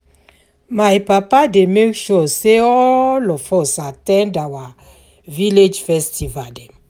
My papa dey make sure sey all of us at ten d our village festival dem.